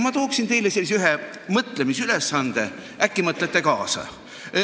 Ma annan teile ühe mõtlemisülesande, äkki mõtlete kaasa.